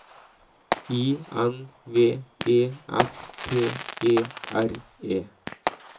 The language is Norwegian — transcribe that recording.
I N V E S T E R E